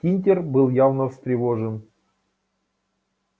тинтер был явно встревожен